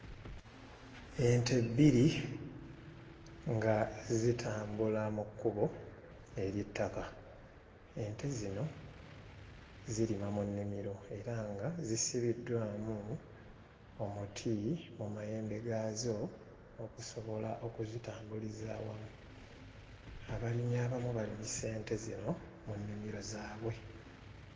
Ente bbiri nga zitambula mu kkubo ery'ettaka, ente zino zirima mu nnimiro era nga zisibiddwamu omuti mu mayembe gaazo okusobola okuzitambuliza awamu, abalimi abamu balimisa ente zino mu nnimiro zaabwe.